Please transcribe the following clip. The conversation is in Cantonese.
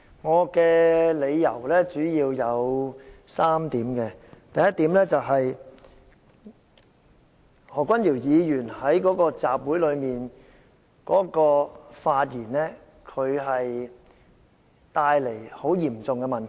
我的理由主要有3點，第一，何君堯議員在該次集會中的發言，是會帶來很嚴重的問題。